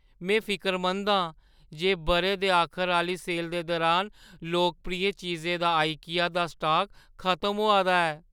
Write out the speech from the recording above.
में फिकरमंद आं जे बʼरे दे आखर आह्‌ली सेल दे दुरान लोकप्रिय चीजें दा आईकिया दा स्टाक खतम होआ दा ऐ।